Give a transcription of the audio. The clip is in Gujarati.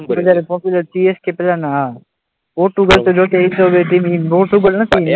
પોપ્યુલર CSK પહેલાના હા પોર્ટુગલ તો જો કે એ તો,